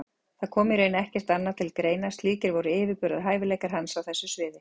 Það kom í raun ekkert annað til greina, slíkir voru yfirburðahæfileikar hans á þessu sviði.